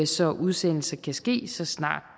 så udsendelse kan ske så snart